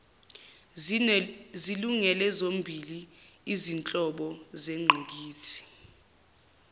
zilungele zombili izinhlobozengqikithi